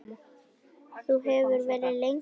Þú hefur verið lengi veik.